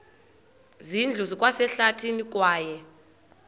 zindlu zikwasehlathini kwaye